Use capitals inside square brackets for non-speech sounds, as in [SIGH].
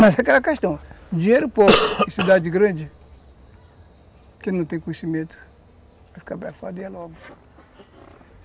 Mas é aquela questão, [COUGHS] dinheiro pouco em cidade grande, quem não tem conhecimento, vai ficar [UNINTELLIGIBLE] logo.